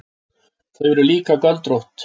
Þau eru líka göldrótt.